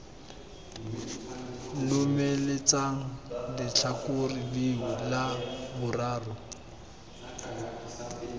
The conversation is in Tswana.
lomeletsang letlhakore leo la boraro